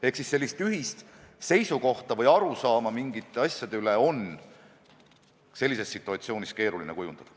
Ehk ühist seisukohta või arusaama mingitest asjadest on sellises situatsioonis keeruline kujundada.